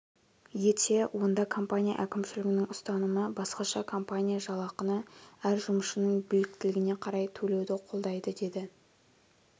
етсе онда компания әкімшілігінің ұстанымы басқаша компания жалақыны әр жұмысшының біліктілігіне қарай төлеуді қолдайды деді